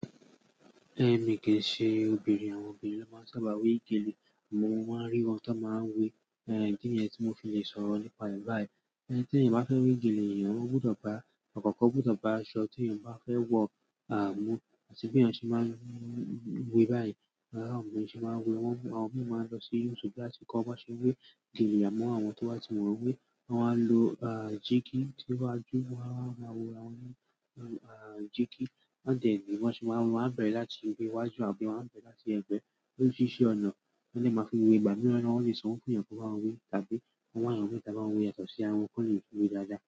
Ẹ̀mi kì í ṣe obìnrin, àwọn obìnrin ló máa ń sábà wé gèlè, àmọ́ mo máa ń rí wọn ti won máa ń wé, ìdí niyẹ̀n tí mo fi lè sọ̀rọ̀ nípa rẹ̀ báyìí. Ẹni tí ènìyàn bá fẹ́ wé gèlè, ènìyàn ọ́ gbọ́dọ̀ bá, àkókó ó gbọ́dọ̀ bá aṣọ tí ènìyàn bá fẹ́ wọ mu, kii se bí ènìyàn ṣe máa ń wé báyìí. Àwọn obìnrin ṣe máa ń wé, àwọn miran máa ń lọ sí YouTube láti kọ bí wọ́n ṣe ń wé gèlè àmọ́ àwọn tó bá ti mọ̀ọ́ wé, wọ́n máa ń lo, a, jígí, tí wọ́n bá jó, wọ́n á wá má a wo rawọn, a, jígí, wọ́ndẹ̀ ní bí wọ́n ń ṣe máa ńmu, wọ́n á bẹ̀rẹ̀ láti ibi iwájú àbí wọ́n á bẹ̀rẹ̀ láti ẹ̀gbẹ́, Oríṣiríṣi ọ̀nà ni wọ́n dẹ̀ máa fi ń we, ìgbà míràn ni wọ́n lè sanwó fún yàn kán báwọn we tàbí kán wà yàn míì tá á báwọn we yàtọ̀ sí ara wọn kó lè tún we dáadáa.